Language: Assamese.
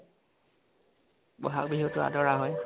বহাগ বিহুটো আদৰা হয়